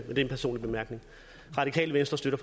er en personlig bemærkning radikale venstre støtter